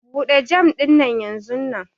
Bude jam dinnan yanzunnan!